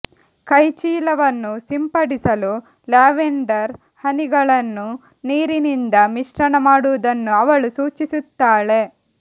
ಕೈಚೀಲವನ್ನು ಸಿಂಪಡಿಸಲು ಲ್ಯಾವೆಂಡರ್ ಹನಿಗಳನ್ನು ನೀರಿನಿಂದ ಮಿಶ್ರಣ ಮಾಡುವುದನ್ನು ಅವಳು ಸೂಚಿಸುತ್ತಾಳೆ